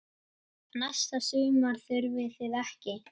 Næsta sumar þurfið þið ekki.